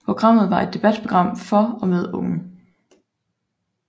Programmet var et debatprogram for og med unge